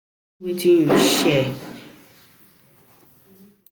Share wetin you Share wetin you sabi with your people, because na community dey make us grow.